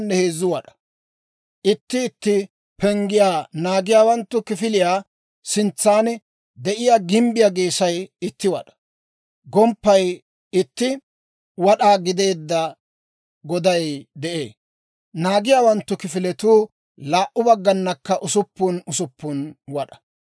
Itti itti penggiyaa naagiyaawanttu kifiliyaa sintsan de'iyaa gimbbiyaa geesay itti wad'aa, gomppaykka itti wad'aa gideedda goday de'ee; naagiyaawanttu kifiletuu laa"u bagganakka usuppun usuppun wad'aa.